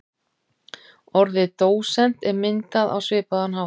Orðið dósent er myndað á svipaðan hátt.